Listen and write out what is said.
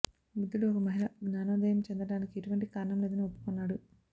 బుద్ధుడు ఒక మహిళ జ్ఞానోదయం చెందటానికి ఎటువంటి కారణం లేదని ఒప్పుకున్నాడు